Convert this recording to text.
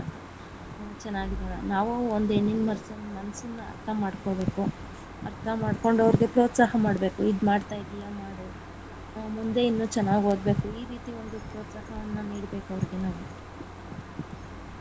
ಚೆನ್ನಾಗಿರಲ್ಲ ನಾವು ಒಂದು ಹೆಣ್ಣಿನ ಮನಸ್ಸನ್ ಮನಸ್ಸನ್ನಾ ಅರ್ಥ ಮಾಡ್ಕೊಬೇಕು ಅರ್ಥ ಮಾಡ್ಕೊಂಡು ಅವ್ರ್ಗೆ ಪ್ರೋತ್ಸಾಹ ಮಾಡಬೇಕು ಇದ್ ಮಾಡ್ತಾ ಇದೀಯಾ ಮಾಡು ಹ~ ಮುಂದೆ ಇನ್ನೂ ಚೆನ್ನಾಗ ಓದಬೇಕು ಈ ರೀತಿ ಒಂದು ಪ್ರೋತ್ಸಾಹವನ್ನ ನೀಡ್ಬೇಕು ಅವ್ರಿಗೆ ನಾವು.